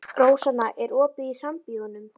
Rósanna, er opið í Sambíóunum?